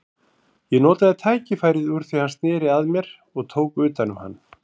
Ég notaði tækifærið úr því hann sneri að mér og tók utan um hann.